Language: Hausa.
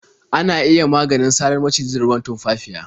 Ana iya maganin sarar maciji da ruwan tumfafiya.